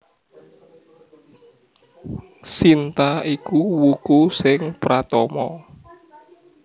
Sinta iku wuku sing pratama